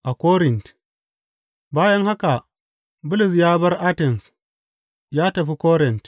A Korint Bayan haka, Bulus ya bar Atens ya tafi Korint.